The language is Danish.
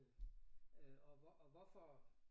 Øh øh og hvor og hvorfor